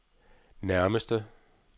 nærmeste